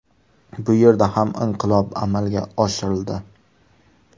Bu yerda ham inqilob amalga oshirildi.